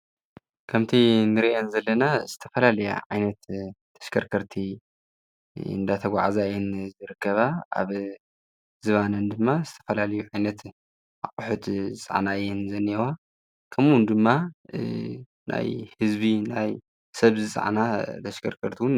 ከምቲ እንሪኦ ዘለና ዝተፈላለዩ ዓይነት ተሽከርከርትን እናተጓዕዛ እየን ዝርከባ ኣብ ዝባነን ድማ ዝተፈላለየዩ ዓይነት ኣቑሕት ዝፀዓና እየን ዝኒኤዋ። ከምኡ ውን ድማ ናይ ህዝቢ ናይ ሰብ ዝፀዓና ተሽከርከርተቲ እውን